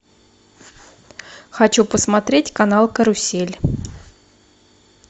хочу посмотреть канал карусель